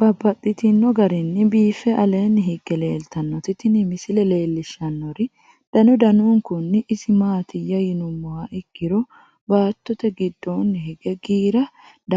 Babaxxittinno garinni biiffe aleenni hige leelittannotti tinni misile lelishshanori danu danunkunni isi maattiya yinummoha ikkiro baatto giddonni hige giira